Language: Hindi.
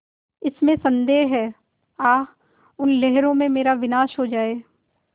इसमें संदेह है आह उन लहरों में मेरा विनाश हो जाए